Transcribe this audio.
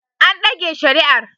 An dage shari'ar